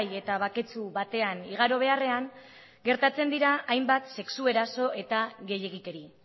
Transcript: eta baketsu batean igaro beharrean gertatzen dira hainbat sexu eraso eta gehiegikeri